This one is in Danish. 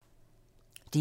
DR1